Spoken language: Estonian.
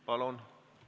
Palun!